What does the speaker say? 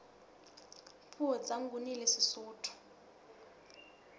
puo tsa nguni le sesotho